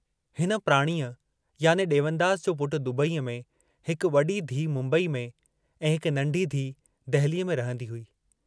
हिन प्राणीअ याने ॾेवनदास जो पुट दुबईअ में, हिक वॾी धीअ मुम्बईअ में त हिक नंढी धीअ दहलीअ में रहंदी हुई।